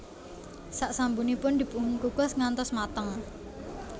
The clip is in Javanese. Sak sampunipun dipunkukus ngantos mateng